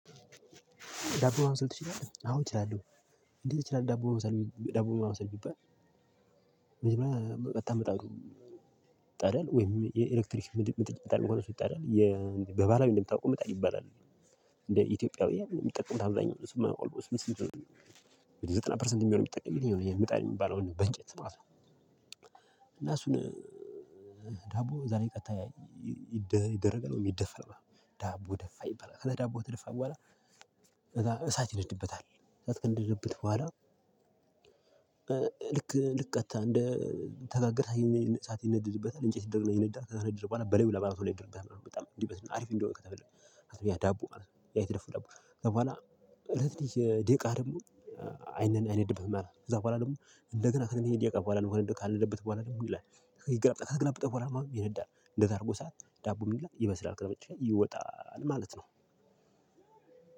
ዳቦ ማብሰል ትችላለህ? አዎ፣ እችላለሁ። እንዴት ትችላለህ ዳቦ ማብሰል ዳቦ ማብሰል ቢባል። መጀመሪያ ቀጥታ ምጣዱ ይጣዳል ወይም የኤሌክትሪክ ምጥጭ ይጣዳል መሆን ይጣዳል የበባላዊ እንደምታውቁም ምጣድ ይባላል። እንደ ኢትዮጵያዊ የምትጠቀሙት አብዛኛው እሱማኦልሞስት ዘጠና ፐርሰንት የሚሆን የሚጠቅምልኝ ነው የምጣን የሚባለው በእንጨት ማለት ነው። እና እሱን ዳቦ ዛሬ ቀጥታ ይደረጋል ይደፍል ዳቦ ደፋ ይበላል ከዳቦ ደፋ በኋላ እዛ እሳት ይደድብታል እሳት ከነደደበት በኋላ። ልክ ልቀጥታ እንደ ተጋግረህ የኔ ሰዓት ይነድድበታል እንጨት ይነዳል ተሰናድድቧል በሌላ በአመቱ ለባህር ድርብ በጣም እንዲህ በስነ አሪፍ እንደሆነ ከተፈለክ ዳቦ ማለት ነው። ያይት ደፉ ከዛ በኋላ እለት ደቂቃ ደግሞ አይንን አይንድብህም። አለ ከዛ በኋላ ደግሞ እንደገና እንደገና ይሄ ደቂቃ በኋላ ነው እንደው ካልነደበት በኋላ ደግሞ ይላል ይገራብጠው ይገራብጠው በኋላ ይሄን ይላል እንደዛ አድርጎ ሰዓት ዳቦ ይበስላል ይመስላል። ቅድመ መቼ? ይወጣል ማለት ነው።